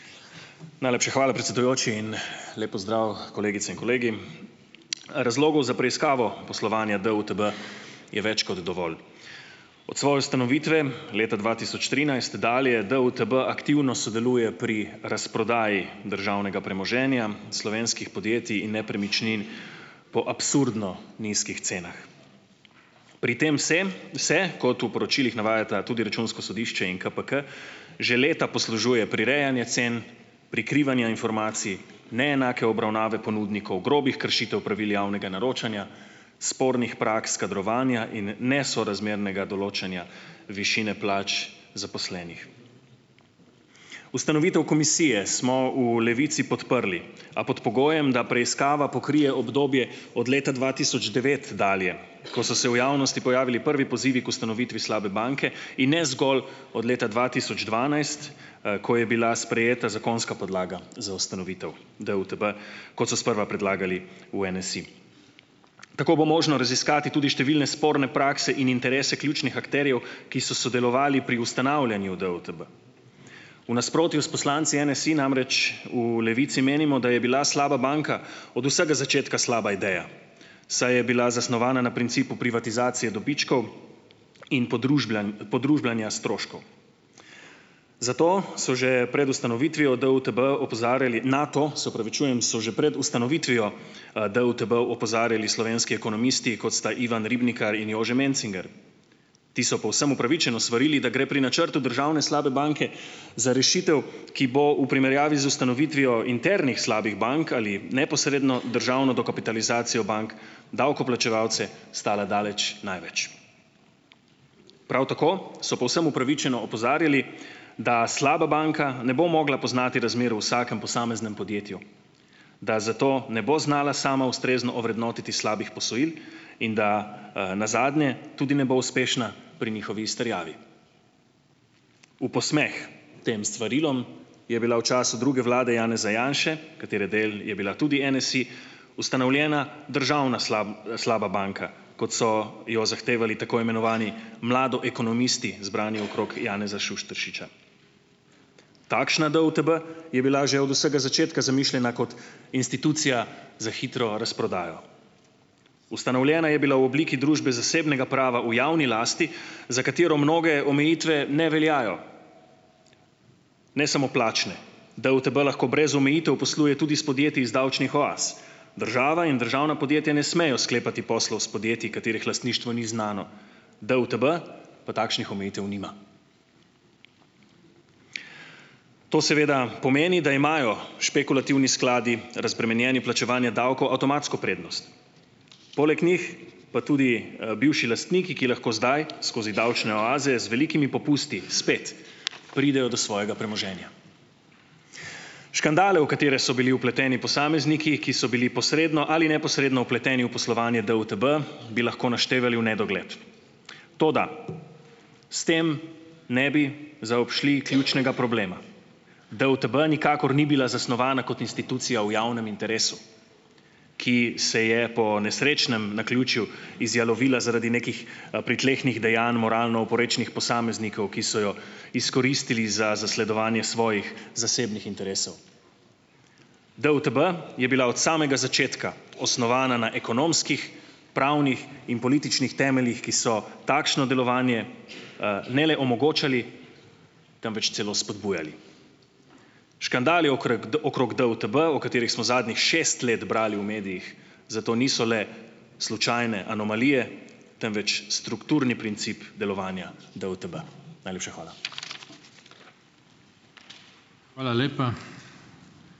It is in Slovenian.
Najlepša hvala, predsedujoči, in lep pozdrav kolegice in kolegi. Razlogov za preiskavo poslovanja DUTB je več kot dovolj od svoje ustanovitve leta dva tisoč trinajst dalje DUTB aktivno sodeluje pri razprodaji državnega premoženja slovenskih podjetij in nepremičnin po absurdno nizkih cenah. Pri tem vsem se kot v poročilih navajata tudi računsko sodišče in KPK, že leta poslužuje prirejanja cen, prikrivanja informacij, neenake obravnave ponudnikov grobih kršitev pravil javnega naročanja, spornih praks kadrovanja in nesorazmernega določanja, višine plač zaposlenih. Ustanovitev komisije smo v Levici podprli, a pod pogojem, da preiskava pokrije obdobje od leta dva tisoč devet dalje, ko so se v javnosti pojavili prvi pozivi k ustanovitvi slabe banke, in ne zgolj od leta dva tisoč dvanajst, ko je bila sprejeta zakonska podlaga za ustanovitev DUTB, ko so sprva predlagali v NSi, tako bo možno raziskati tudi številne sporne prakse in interese ključnih akterjev, ki so sodelovali pri ustanavljanju DUTB, v nasprotju s poslanci NSi namreč v Levici menimo, da je bila slaba banka od vsega začetka slaba ideja, saj je bila zasnovana na principu privatizacije dobičkov in podružbljanja stroškov, zato so že pred ustanovitvijo DUTB opozarjali na to, se opravičujem, so že pred ustanovitvijo DUTB opozarjali slovenski ekonomisti, kot sta Ivan Ribnikar in Jože Mencinger, ti so povsem upravičeno svarili, da gre pri načrtu državne slabe banke za rešitev, ki bo v primerjavi z ustanovitvijo internih slabih bank ali neposredno državno dokapitalizacijo bank, davkoplačevalce stala daleč največ. Prav tako so povsem opravičeno opozarjali, da slaba banka ne bo mogla poznati razmer v vsakem posameznem podjetju, da zato ne bo znala sama ustrezno ovrednotiti slabih posojil in da nazadnje tudi ne bo uspešna pri njihovi izterjavi. V posmeh tem svarilom je bila v času druge vlade Janeza Janše, katere del je bila tudi NSi ustanovljena državna slaba banka, kot so jo zahtevali tako imenovani mladoekonomisti zbrani okrog Janeza Šuštaršiča, takšna DUTB je bila že od vsega začetka zamišljena kot institucija za hitro razprodajo, ustanovljena je bila v obliki družbe zasebnega prava v javni lasti, za katero mnoge omejitve ne veljajo, ne samo plačne, DUTB lahko brez omejitev posluje tudi s podjetji iz davčnih oaz, država in državna podjetja ne smejo sklepati poslov s podjetji, katerih lastništvo ni znano, DUTB pa takšnih omejitev nima. To seveda pomeni, da imajo špekulativni skladi, razbremenjeni plačevanja davkov, avtomatsko prednost, poleg njih pa tudi bivši lastniki, ki lahko zdaj skozi davčne oaze z velikimi popusti spet pridejo do svojega premoženja. Škandale, v katere so bili vpleteni posamezniki, ki so bili posredno ali neposredno vpleteni v poslovanje DUTB, bi lahko naštevali v nedogled, toda s tem ne bi zaobšli ključnega problema, DUTB nikakor ni bila zasnovana kot institucija v javnem interesu, ki se je po nesrečnem naključju izjalovila zaradi nekih pritlehnih dejanj moralno oporečnih posameznikov, ki so jo izkoristili za zasledovanje svojih zasebnih interesov. DUTB je bila od samega začetka osnovana na ekonomskih pravnih in političnih temeljih, ki so takšno delovanje, ne le omogočali, temveč celo spodbujali. Škandali okrog DUTB, o katerih smo zadnjih šest let brali v medijih, zato niso le slučajne anomalije, temveč strukturni princip delovanja DUTB, najlepša hvala. Hvala lepa.